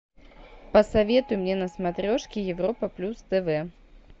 посоветуй мне на смотрешке европа плюс тв